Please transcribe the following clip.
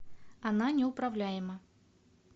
она неуправляема